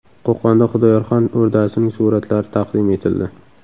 Qo‘qonda Xudoyorxon o‘rdasining suratlari taqdim etildi.